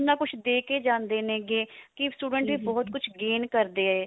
ਇੰਨਾ ਕੁਛ ਦੇ ਕੇ ਜਾਂਦੇ ਨੇ ਕੀ students ਇਹ ਬਹੁਤ ਕੁਝ gain ਕਰਦੇ ਏ